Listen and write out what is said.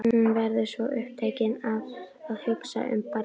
Hún verður svo upptekin af að hugsa um barnið.